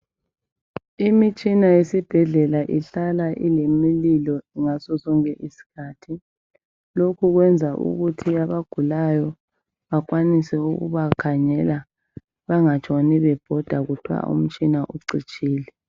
Imitshina yesibhedlela ihlala ilemililo ngasosonke isikhathi lokhu kwenza ukuthi abagulayo bakwanise ukubakhangela bangatshoni bebhoda kuthwa umtshina ucitshile.